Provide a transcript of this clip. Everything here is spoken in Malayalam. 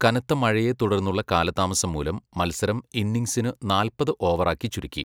കനത്ത മഴയെ തുടർന്നുള്ള കാലതാമസം മൂലം മത്സരം ഇന്നിങ്ങ്സിനു നാൽപ്പത് ഓവറാക്കി ചുരുക്കി.